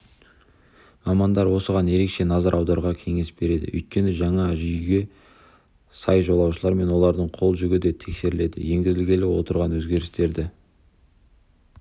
мамандар осыған ерекше назар аударуға кеңес береді өйткені жаңа жүйге сай жолаушылар мен олардың қол жүгі де тексеріледі енгізілгелі отырған өзгерістерді